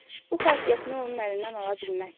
Bu xasiyyətini onun əlindən ala bilməzsən.